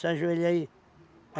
Se ajoelha aí.